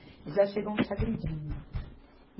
Eles já chegam te agredindo.